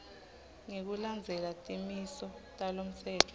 ngekulandzela timiso talomtsetfo